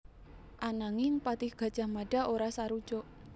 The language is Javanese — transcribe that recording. Ananging patih Gajah Mada ora sarujuk